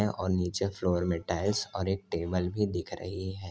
ये और नीचे फ्लोर में टाइल्स और एक टेबल भी दिख रही है।